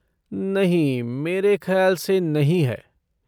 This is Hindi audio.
नहीं, मेरे ख़याल से नहीं है।